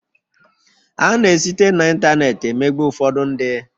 A na esite na ịntanetị emegbu ụfọdụ ndị